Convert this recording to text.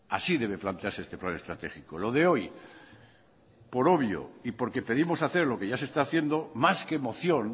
así debe plantearse este plan estratégico lo de hoy por obvio y porque pedimos hacer lo que ya se está haciendo más que moción